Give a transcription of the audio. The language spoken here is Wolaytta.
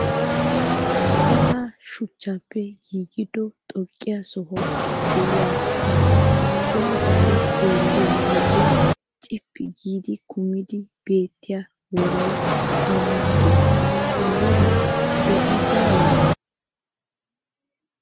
Sa'ayi shuchchaappe giigido xoqqiyaa soha diyasaara yaa zaari xeelliyoo wode cippi giidi kumidi beettiyaa worayi awan dii? ha woran do'i baawee?